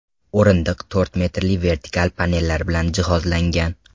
O‘rindiq to‘rt metrli vertikal panellar bilan jihozlangan.